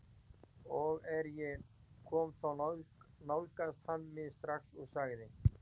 Og er ég kom þá nálgaðist hann mig strax og sagði